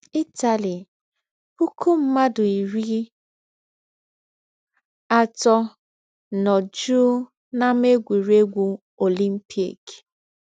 Ịtali “ Pụkụ mmadụ iri atọ nọ jụụ n’Ámá Egwụregwụ Ọlimpịk...